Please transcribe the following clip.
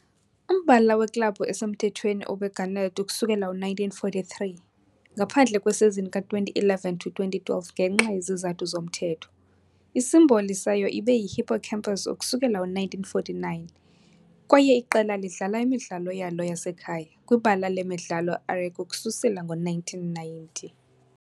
Umbala weklabhu esemthethweni ube garnet ukusukela ngo-1943, ngaphandle kwesizini ka-2011-2012, ngenxa yezizathu zomthetho, isimboli sayo ibe yihippocampus ukusukela ngo-1949, kwaye iqela lidlala imidlalo yalo yasekhaya. kwibala lemidlalo iArechi ukususela ngo-1990.